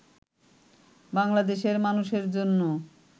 বাংলাদেশের মানুষের জন্য